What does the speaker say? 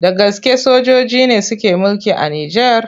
Da gaske sojoji ne suke mulki a Nijar?